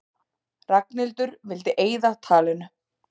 Ragnhildur vildi eyða talinu.